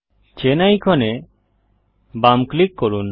chain আইকনে বাম click করুন